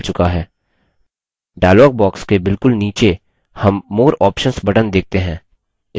dialog box के बिलकुल नीचे हम more options button देखते हैं इस पर click करें